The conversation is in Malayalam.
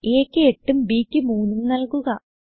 aക്ക് 8ഉം b ക്ക് 3ഉം നല്കുക